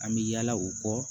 An bɛ yala o kɔ